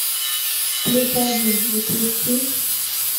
плюс один запусти